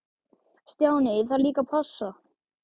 Stjáni, ég þarf líka að passa.